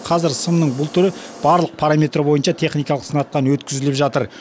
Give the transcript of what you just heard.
қазір сымның бұл түрі барлық параметр бойынша техникалық сынақтан өткізіліп жатыр